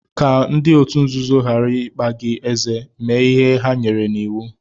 Ka ndị otu nzuzo ghara ịkpa gị ézé, mee ihe ha nyere n'iwu.